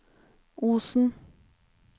Osen